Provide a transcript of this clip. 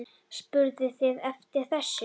Spurðuð þið eftir þessu?